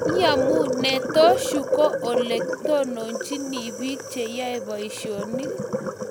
Iyamunee?,Tos yuu ko ole tononchini biik che yoe boishionik?